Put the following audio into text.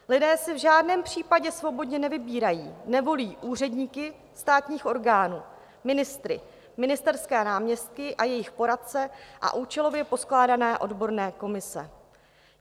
Lidé si v žádném případě svobodně nevybírají, nevolí úředníky státních orgánů, ministry, ministerské náměstky a jejich poradce a účelově poskládané odborné komise.